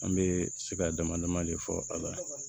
An bɛ sira dama dama de fɔ a la